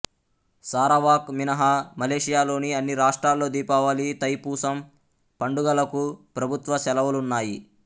Sarawak మినహా మలేషియాలోని అన్ని రాష్ట్రాల్లో దీపావళి తైపూసం పండుగలకు ప్రభుత్వ సెలవులున్నాయి